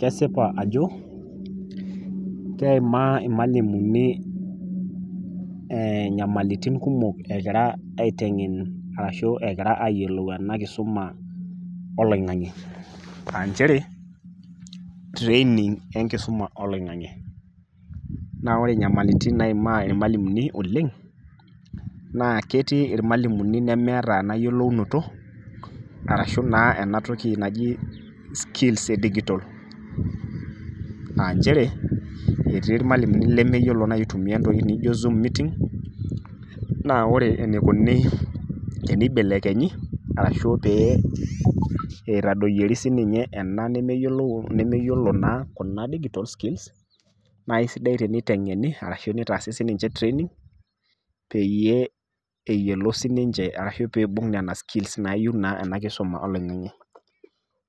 Kesipa ajo keimaa ilmalimuni enyamalitin kumok egira aiteng'en arashu egira ayiolou ena kisuma oloing'ang'e aanchere training enkisuma oloing'ang'e. Naa ore inyamalitin naimaa ilmalimuni oleng' naa ketii ilmalimuni nemeeata ena yiolounoto arashu naa enatoki naji skills edigitol aanchere etii ilmalimuni lemeyiolo naa aitumia entoki nijo zoom meeting naa ore eneikuni teneibelekenyi arashu pee eitadoyori sininye ena nemeyiolou, nemeyiolo naa kuna digital skills naaisidai teniteng'eni arashu neitaasi sininche training peyie eyiolou sininche arashu peeibung nena skills naayou naa enakisoma oloing'ang'e.